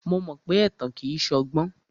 Mo mọ pé ẹ̀tàn kìí ṣọgbọ́n.